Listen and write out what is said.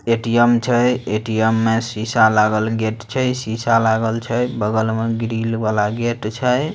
ATM छे ATM मैं शीशा लागल गेट छे शीशा लागल छे बगल में ग्रील वाला गेट छे।